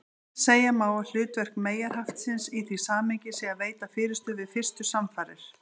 Segja má að hlutverk meyjarhaftsins í því samhengi sé að veita fyrirstöðu við fyrstu samfarir.